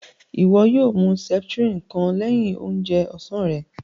Iwọ yóò mú septrin kàn lẹ̀hin òunjè ọ̀sán rè